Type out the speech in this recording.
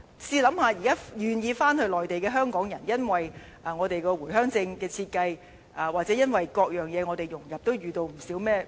試想象，現在願意回內地的香港人，會是如何因為回鄉證的設計，或因為各樣融入而遇到不少問題。